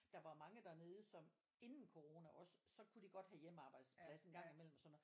Der var jo mange dernede som inden corona også så kunne de godt have hjemmearbejdsplads og sådan noget